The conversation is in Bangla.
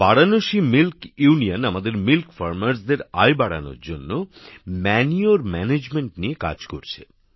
বারাণসী মিল্ক ইউনিয়ন আমাদের দুধওয়ালাদের আয় বাড়ানোর জন্য সার ব্যবস্থাপনা নিয়ে কাজ করছে